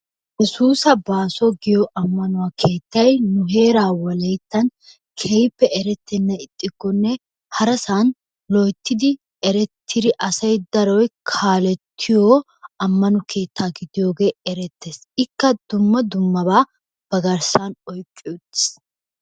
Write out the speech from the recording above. Yesuusa baaso giyo ammanuwa keettaay nu heeraa wolayittan keehippe erettennan ixxikkonne harasan loyittidi erettidi asay daroy kaalettiyo ammano keettaa gidiyogee erettees. Ikka dumma dummabaa ba garssan oyiqqi uttiis.